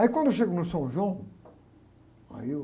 Aí quando eu chego no São João, aí eu...